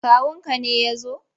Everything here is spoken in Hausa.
Kawunka ne ya zo?